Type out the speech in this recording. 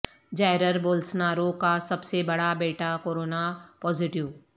Jair Bolsonaro کا سب سے بڑا بیٹا کورونا پازیٹو